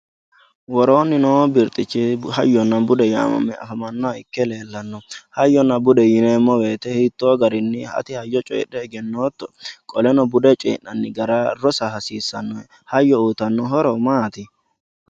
worooni noo birxichi hayyonna bude yaamame afamannoha ikke leellanno hayyonna bude yineemo woyiite hitoo garinni ati hayyo coyiidhe egenootto qolenno bude coyii'nanni gara rosa hasiisahe hayyo uyiitanno horo maati